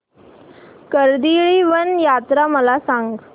कर्दळीवन यात्रा मला सांग